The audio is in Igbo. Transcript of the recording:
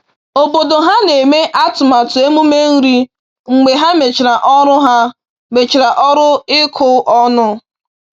Obodo ha na-eme atụmatụ emume nri mgbe ha mechara ọrụ ha mechara ọrụ ịkụ ọnụ